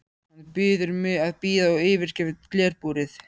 Hann biður mig að bíða og yfirgefur glerbúrið.